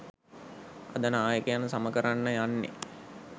අද නායකයන් සම කරන්න යන්නෙ